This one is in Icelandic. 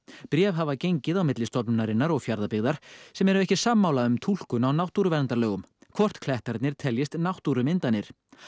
bréf hafa gengið á milli stofnunarinnar og Fjarðabyggðar sem ekki eru sammála um túlkun á hvort klettarnir teljist náttúrumyndanir